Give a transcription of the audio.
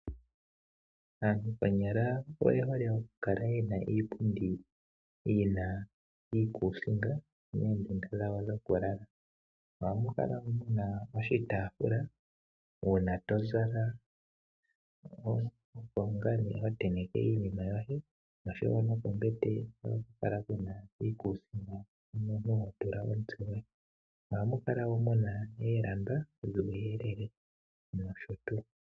Aantu konyala oye hole okukala yena iipundi yina iikuusinga moondunda dhawo dhokulala. Ohamu kala muna oshitaafula uuna tozala , opo ngaa ho tenteke iinima yoye pombete ohapu kala puna iikuusinga mpono ho tenteke omutse goye. Ohaku kala woo muna uuyelele woolamba noshotuu.